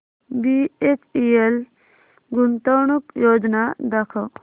BHEL गुंतवणूक योजना दाखव